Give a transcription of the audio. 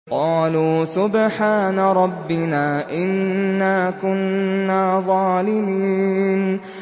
قَالُوا سُبْحَانَ رَبِّنَا إِنَّا كُنَّا ظَالِمِينَ